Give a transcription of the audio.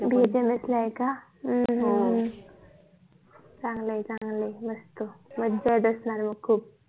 BHMS ला आहे का हम चांगलंय चांगलंय मस्त मज्जाच असणार खूप